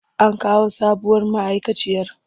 An kawo sabuwar ma'aikaciyar?